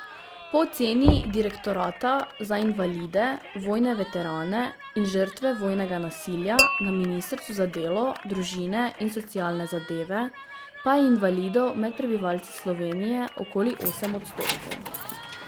Po oceni direktorata za invalide, vojne veterane in žrtve vojnega nasilja na ministrstvu za delo, družine in socialne zadeve pa je invalidov med prebivalci Slovenije okoli osem odstotkov.